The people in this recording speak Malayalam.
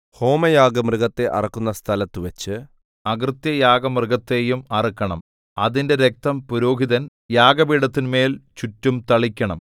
ഹോമയാഗമൃഗത്തെ അറുക്കുന്ന സ്ഥലത്തുവച്ച് അകൃത്യയാഗമൃഗത്തെയും അറുക്കണം അതിന്റെ രക്തം പുരോഹിതൻ യാഗപീഠത്തിന്മേൽ ചുറ്റും തളിക്കണം